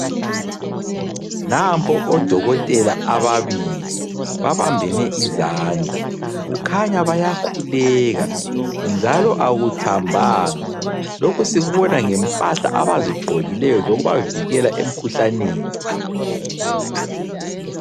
Nampo odokotela ababili babambene izandla kukhanya bayakhuleka njalo akuthambanga lokhu sikubona ngempahla abazigqokileyo zokubavikela emkhuhlaneni.